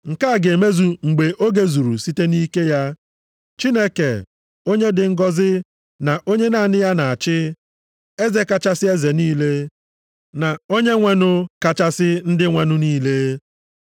Nke a ga-emezu mgbe oge zuru site nʼike ya, Chineke, onye dị ngọzị na onye naanị ya na-achị, Eze kachasị eze niile, na Onyenwenụ kachasị ndị nwenụ niile.